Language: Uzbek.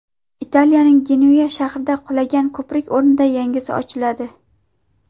Italiyaning Genuya shahrida qulagan ko‘prik o‘rnida yangisi ochiladi .